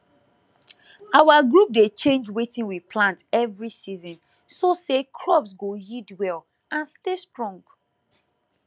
our group dey change wetin we plant every season so say crops go yield well and stay strong